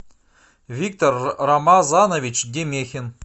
виктор рамазанович демехин